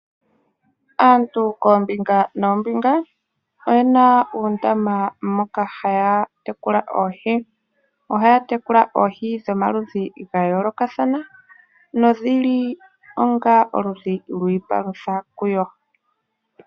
Aantu koombinga noombinga oye na uundama moka haya tekula oohi. Ohaya tekula oohi dhomaludhi ga yoolokathana nodhi li onga oludhi lwiipalutha kuyo.